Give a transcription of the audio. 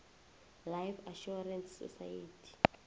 life assurance society